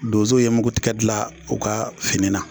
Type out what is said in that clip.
Donzow ye mugu tigɛ dilan u ka fini na.